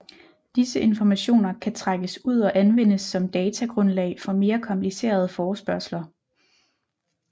Disse informationer kan trækkes ud og anvendes som datagrundlag for mere komplicerede forespørgsler